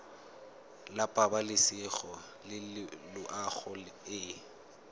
la pabalesego le loago e